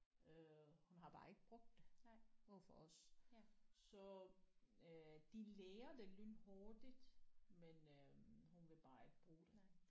Øh hun har bare ikke brugt det over for os så øh de lærer det lynhurtigt men øh hun ville bare ikke bruge det